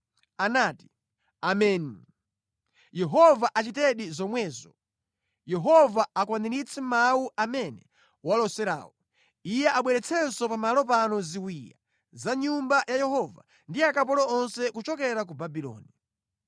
Anati, “Ameni! Yehova achitedi zomwezo! Yehova akwaniritse mawu amene waloserawo. Iye abweretsenso pa malo pano ziwiya za mʼNyumba ya Yehova ndi akapolo onse kuchokera ku Babuloni.